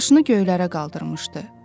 Başını göylərə qaldırmışdı.